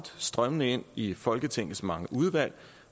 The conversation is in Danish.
strømmer ind i folketingets mange udvalg